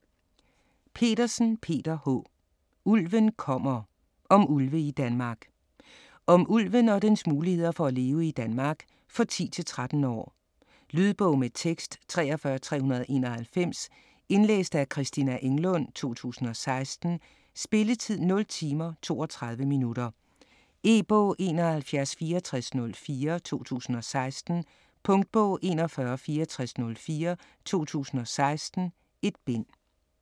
Petersen, Peter H.: Ulven kommer: om ulve i Danmark Om ulven og dens muligheder for at leve i Danmark. For 10-13 år. Lydbog med tekst 43391 Indlæst af Christina Englund, 2016. Spilletid: 0 timer, 32 minutter. E-bog 716404 2016. Punktbog 416404 2016. 1 bind.